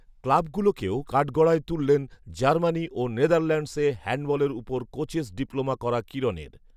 ক্লাবগুলোকেও কাঠড়গায় তুললেন জার্মানি ও নেদারল্যান্ডসে হ্যান্ডবলের ওপর কোচেস ডিপ্লোমা করা কিরণের